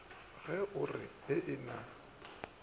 ge o re ee na